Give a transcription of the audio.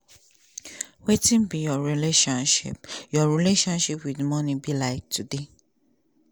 wetin be your relationship your relationship wit money like today?